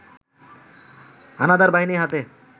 হানাদারবাহিনীর হাতে